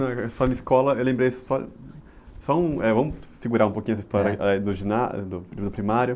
Não, eh, falando em escola, eu lembrei só... Só um, eh, vamos segurar um pouquinho essa história do ginásio, do, do primário.